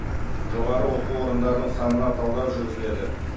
жоғары оқу орындарының санына талдау жүргізіледі